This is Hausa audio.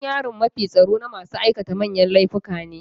Gidan yarin mafi tsaro na masu aikata manyan laifuka ne.